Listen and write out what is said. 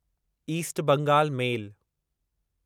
east Bengal मेल